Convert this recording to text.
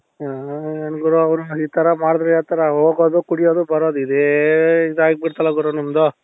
ಹ ಏನ್ ಗುರು ಅವರು ಈತರ ಮಾಡಿದ್ರೆ ಯಾವ್ತರ ಹೋಗೋದು ಕುಡಿಯೋದು ಬರೋದು ಇದೇ ಇದು ಆಗ್ಬಿಡ್ತಲ್ಲ ಗುರು ನಮ್ದು